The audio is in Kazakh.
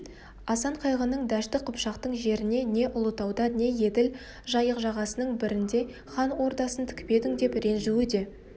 асан қайғының дәшті қыпшақтың жеріне не ұлытауда не еділ жайық жағасының бірінде хан ордасын тікпедің деп ренжуі де